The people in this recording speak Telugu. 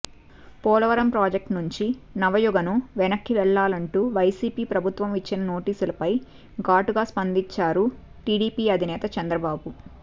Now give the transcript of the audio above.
పోలవరం ప్రాజెక్టు నుంచి నవయుగను వెనక్కి వెళ్లాలంటూ వైసీపీ ప్రభుత్వం ఇచ్చిన నోటీసులపై ఘాటుగా స్పందించారు టీడీపీ అధినేత చంద్రబాబు